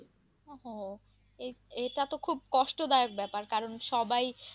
ওহ্হো এ এটা তো খুব কষ্ট দায়ক ব্যাপার কারণ সবাই